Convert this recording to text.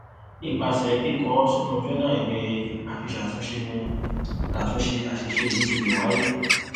ipase kiko o sinu jona iwe afisatunse ni atunse asise yii ti le waye